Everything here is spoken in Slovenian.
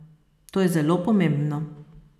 To je zelo pomembno.